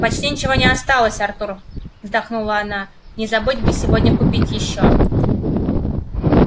почти ничего не осталось артур вздохнула она не забыть бы сегодня купить ещё